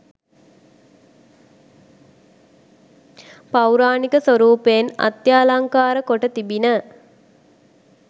පෞරාණික ස්වරූපයෙන් අත්‍යාලංකාර කොට තිබිණ